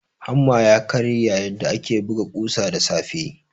Hamma ya karye yayin da ake buga kusa da safe.